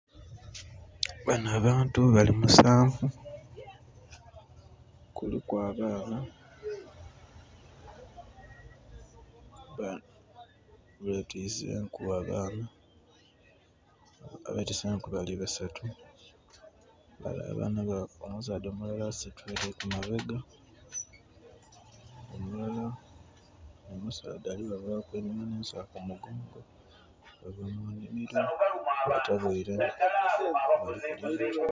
Bano abantu bali musanvu, kuliku abaana nga betwise enku abaana, abetwise enku bali basatu. Bale abaana..omusaadha omulala asitwire ku mabega omulala omusaadha ali kubava einhuma n'ensawo ku mugongo. Bava mu nnhimiro...<skip>